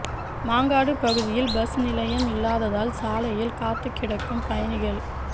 மாங்காடு பகுதியில் பஸ் நிலையம் இல்லாததால் சாலையில் காத்துக் கிடக்கும் பயணிகள்